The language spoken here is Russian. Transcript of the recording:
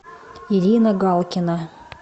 ирина галкина